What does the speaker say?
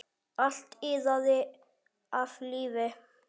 Allt iðaði af lífi.